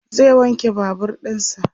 zai wanke Babur ɗinsa